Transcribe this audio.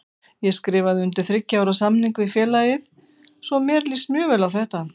Ég skrifaði undir þriggja ára samning við félagið svo mér líst mjög vel á þetta.